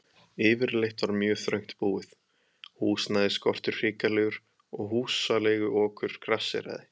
Yfirleitt var mjög þröngt búið, húsnæðisskortur hrikalegur og húsaleiguokur grasséraði.